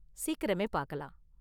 சீக்கிரமே பாக்கலாம்!